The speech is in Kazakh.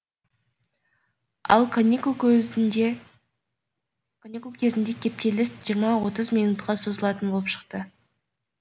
ал каникул кезінде кептеліс жиырма отыз минутқа созылатын болып шықты